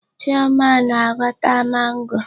Chioma na-aghọta mango.